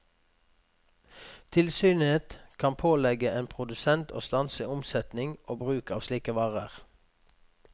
Tilsynet kan pålegge en produsent å stanse omsetning og bruk av slike varer.